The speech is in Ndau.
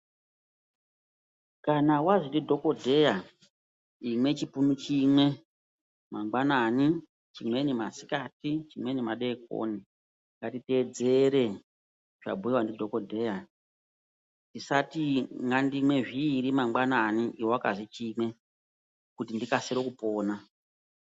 Kana wazwi ndidhokodheya imwe chipunu chimwe mangwanani, chimweni masikati, chimweni madeekoni, ngatiteedzere zvabhuiwa ndidhokodheya. Tisati ngandimwe zviiri mangwanani, iwe wakazi chimwe, kuti ndikasire kupona.